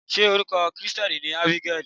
Ṣé orúkọ Kirìtẹ́nì ni Ábígẹ́lì?